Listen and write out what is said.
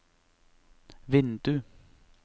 vindu